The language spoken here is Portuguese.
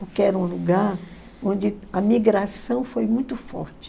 porque era um lugar onde a migração foi muito forte.